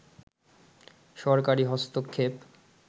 সরকারী হস্তক্ষেপ